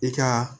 I ka